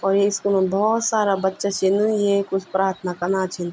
और ये स्कूलं भौत सारा बच्चा छिंन ये कुछ प्रार्थना कना छिंन।